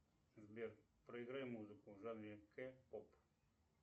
сбер проиграй музыку в жанре к поп